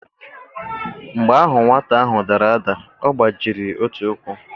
Mgbe ahụ nwata ahụ dara ada, ọ gbajiri otu ukwu.